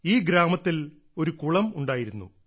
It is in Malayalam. ഈ ഗ്രാമത്തിൽ ഒരു കുളം ഉണ്ടായിരുന്നു